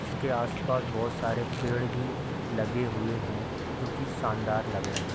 इसके आस-पास बोहोत सारे पेड़ भी लगे हुए हैं जो की शानदार लग रहे --